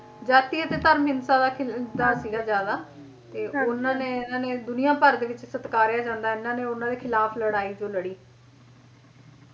ਜਾਤੀ ਅਤੇ ਧਰਮ ਹਿੰਸਾ ਦਾ ਖਿਲਦਾ ਸੀਗਾ ਜ਼ਿਆਦਾ ਤੇ ਉਹਨਾਂ ਨੇ ਇਹਨਾਂ ਨੇ ਦੁਨੀਆਂ ਭਰ ਦੇ ਵਿੱਚ ਸਤਕਾਰਿਆ ਜਾਂਦਾ ਇਹਨਾਂ ਨੇ ਉਹਨਾਂ ਦੇ ਖਿਲਾਫ ਲੜਾਈ ਜੋ ਲੜੀ ਹੁੰ